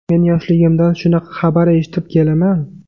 Men yoshligimdan shunaqa xabar eshitib kelaman.